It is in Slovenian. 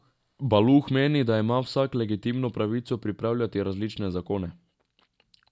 Baluh meni, da ima vsak legitimno pravico pripravljati različne zakone.